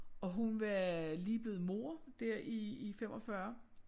Og hun var lige blevet mor der i i 45